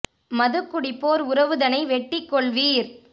மதுகுடிப்போர் உறவுதனை வெட்டிக் கொள்வீர்